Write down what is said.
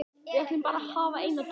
Við ætlum bara að hafa eina dúfu